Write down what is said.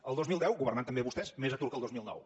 el dos mil deu governant també vostès més atur que el dos mil nou